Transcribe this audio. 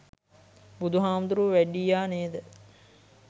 බුදු හාමුදුරුවො වැඩියා නේද